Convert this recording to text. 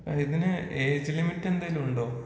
ഇതിന് age limit എന്തെങ്കിലുമുണ്ടോ?